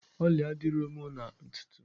Ọlị adịrọ mụ na ntutu?